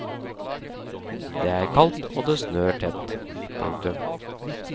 Det er kaldt og det snør tett. punktum